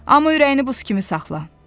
Amma ürəyini buz kimi saxla.